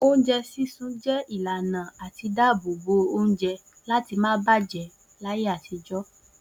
Oúnjẹ sísun jẹ́ ìlànà àti dáàbò bo oúnjẹ láti má bàjẹ́ láyé àtijọ́.